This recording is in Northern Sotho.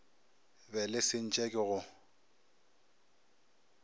be le sentše ke go